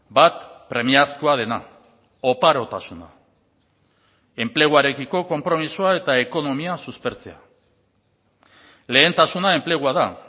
bat premiazkoa dena oparotasuna enpleguarekiko konpromisoa eta ekonomia suspertzea lehentasuna enplegua da